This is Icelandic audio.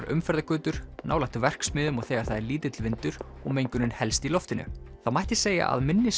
umferðargötur nálægt verksmiðjum og þegar það er lítill vindur og mengunin helst í loftinu það mætti segja að minni